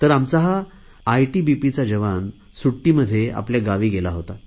आमचा हा आयटीबीपीचा जवान सुट्टीमध्ये आपल्या गावी गेला होता